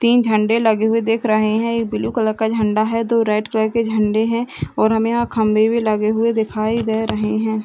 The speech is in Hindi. तीन झंडे लगे हुए दिख रहे है एक ब्लू कलर का झंडा है दो रेड कलर के झंडे है और हमें यहाँ खम्भे भी लगे हुए दिखाई दे रहे है।